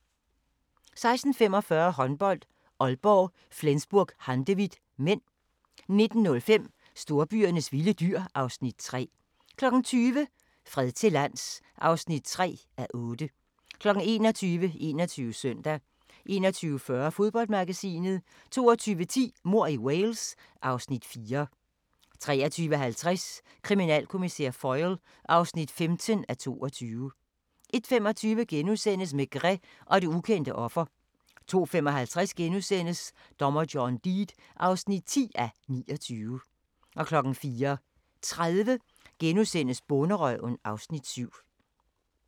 16:45: Håndbold: Aalborg - Flensburg-Handewitt (m) 19:05: Storbyernes vilde dyr (Afs. 3) 20:00: Fred til lands (3:8) 21:00: 21 Søndag 21:40: Fodboldmagasinet 22:10: Mord i Wales (Afs. 4) 23:50: Kriminalkommissær Foyle (15:22) 01:25: Maigret og det ukendte offer * 02:55: Dommer John Deed (10:29)* 04:30: Bonderøven (Afs. 7)*